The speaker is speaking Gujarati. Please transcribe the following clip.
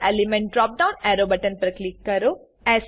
current element drop down arrow button પર ક્લિક કરો